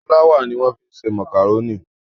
Fúláwà ni wọ́n fi ń ṣe màkàrónì.